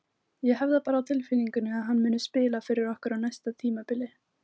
Ég hef það bara á tilfinningunni að hann muni spila fyrir okkur á næsta tímabili.